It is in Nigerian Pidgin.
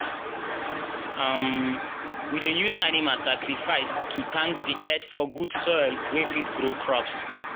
um we dey use animal sacrifice to thank the earth for good soil wey fit grow crops.